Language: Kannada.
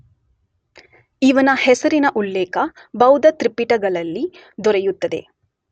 ಇವನ ಹೆಸರಿನ ಉಲ್ಲೇಖ ಬೌದ್ಧತ್ರಿಪಿಟಕಗಳಲ್ಲಿ ದೊರೆಯುತ್ತದೆ.